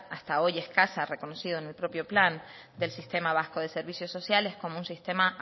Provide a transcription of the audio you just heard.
hasta hoy escasa reconocido en el propio plan del sistema vasco de servicios sociales como un sistema